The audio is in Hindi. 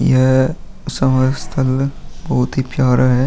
यह स्थल बोहोत ही प्यारा है।